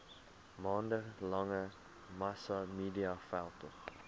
maande lange massamediaveldtog